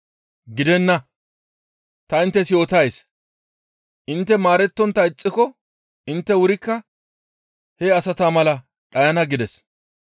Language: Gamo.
Gidenna! Ta inttes yootays; intte maarettontta ixxiko intte wurikka he asata mala dhayana» gides.